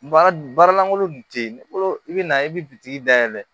Baara baara lankolon kun tɛ yen bolo i bɛ na i bɛ dayɛlɛ